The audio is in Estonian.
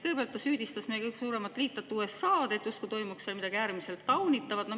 Kõigepealt ta süüdistas meie kõige suuremat liitlast USA‑d, justkui toimuks seal midagi äärmiselt taunitavat.